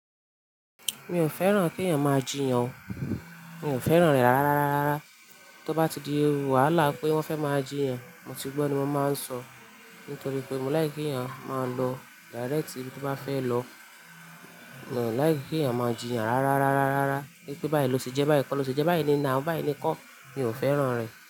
Mi ò fẹ́ràn kí èèyàn máa jì yàn o, mi ò fẹ́ràn rẹ̀ rárá rárá. Tí ó bá ti di wàhálà pé wọ́n fẹ́ máa jì yàn, mo ti gbọ́ ni mo máa ń sọ, nítorí pé mo láì kí èèyàn máa ń lọ direct ibi tí ó bá fẹ́ lọ. Mo láì kí èèyàn máa jì yàn rárá rárá rárá. Pé báyìí lo ṣe jẹ báyìí kọ́ lo ṣe jẹ báyìí ni nà ó báyìí ni kọ́, mi ò fẹ́ràn rẹ̀